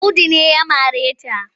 Audu ne ya mare ta.